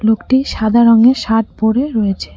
লোকটি সাদা রঙের শার্ট পড়ে রয়েছে।